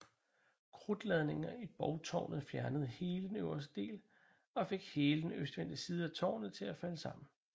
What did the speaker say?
Krudtladninger i borgtårnet fjernede hele den øverste del og fik hele den østvendte side af tårnet til at falde sammen